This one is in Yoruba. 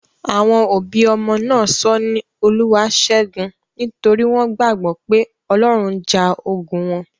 Àwọn òbí ọmọ náà sọ ọ́ ní 'Olúwaáṣẹ́gun' nítorí wọ́n gbàgbọ́ pé Ọlọ́run ja ogun wọn.